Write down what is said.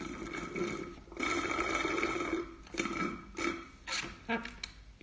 так